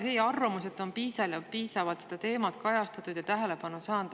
Teie arvamus on, et piisavalt on seda teemat kajastatud ja see tähelepanu saanud.